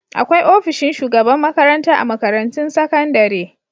Akwai ofishin shugaban makranta a makarantun sakandare.